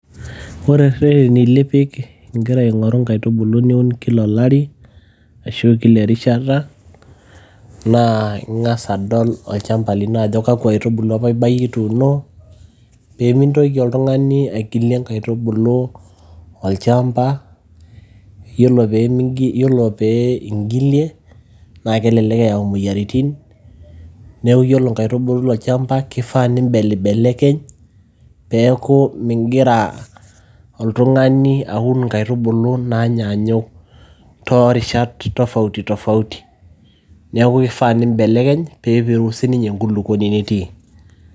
ore irreteni lipik ingira aing'oru inkaitubulu niun kila olari ashu kila erishata naa ing'as adol olchamba lino ajo kakwa aitubulu apa ibayie ituuno peemintoki oltung'ani aigilie inkaitubuu olchamba yiolo pee ingilie naa kelelek eyau imoyiaritin neeku yiolo inkaitubulu tolchamba kifaa nimbelibelekeny peeku mingira oltung'ani aun inkaitubulu naanyanyuk toorishat tofauti tofauti niaku kifaa piimbelekeny peepiru sininye enkulukuoni nitii.